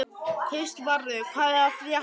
Kristvarður, hvað er að frétta?